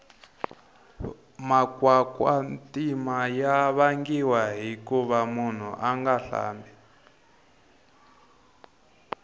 makwakwatima ya vangiwa hikuva munhu anga hlambi